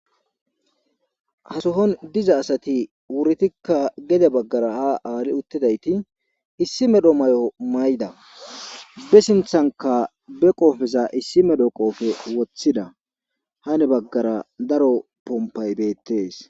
hasohon diza asati wurdikka gede baggara ha aali uttidayti issi medho may7o mayda be sinthanka be qoofeza issi medho qoofe woththida hane baggara daro pompay beettees.